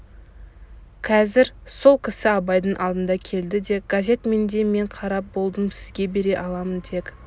қазір сол кісі абайдың алдына келді де газет менде мен қарап болдым сізге бере аламын тек